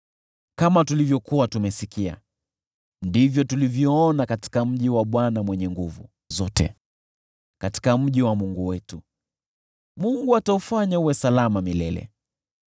Kama tulivyokuwa tumesikia, ndivyo tulivyoona katika mji wa Bwana Mwenye Nguvu Zote, katika mji wa Mungu wetu: Mungu ataufanya uwe salama milele.